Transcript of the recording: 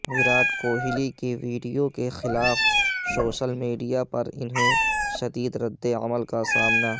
وراٹ کوہلی کے ویڈیو کے خلاف سوشل میڈیا پر انہیں شدید رد عمل کا سامنا